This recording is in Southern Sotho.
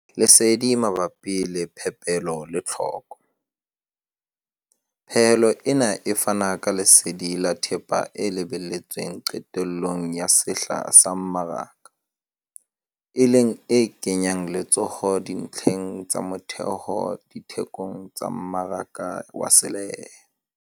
Lesedi mabapi le phepelo le tlhoko- Pehelo ena e fana ka lesedi la thepa e lebelletsweng qetellong ya sehla sa mmaraka, e leng e kenyang letsoho dintlheng tsa motheho dithekong tsa mmaraka wa selehae.